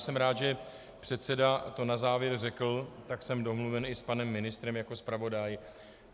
Jsem rád, že předseda to na závěr řekl, tak jsem domluven i s panem ministrem jako zpravodaj.